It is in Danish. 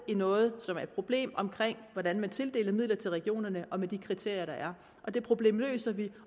noget som er et problem omkring hvordan man tildeler midler til regionerne med de kriterier der er og det problem løser vi